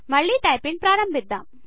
మళ్ళీ టైపింగ్ ప్రారంభిద్దాం